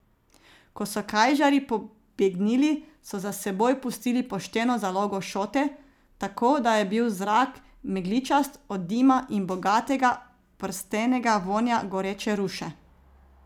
Ko so kajžarji pobegnili, so za seboj pustili pošteno zalogo šote, tako da je bil zrak megličast od dima in bogatega, prstenega vonja goreče ruše.